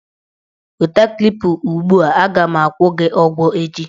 Weta Klipa ugbua! A ga m agwụ gị ụgwọ echi.